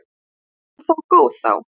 Var hún þó góð þá.